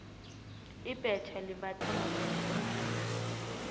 ibhetja limbathwa mumuntu omduna